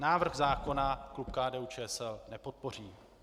Návrh zákona klub KDU-ČSL nepodpoří.